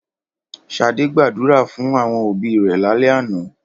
Ṣadé gbàdúrà fún àwọn òbí rẹ̀ lálẹ́ àná.